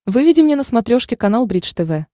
выведи мне на смотрешке канал бридж тв